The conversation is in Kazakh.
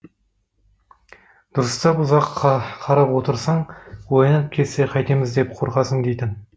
дұрыстап ұзақ қарап отырсаң оянып кетсе қайтеміз деп қорқасың дейтін